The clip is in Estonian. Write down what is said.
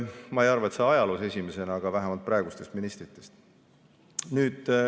Ma ei arva, et ajaloos esimesena, aga vähemalt esimesena praegustest ministritest.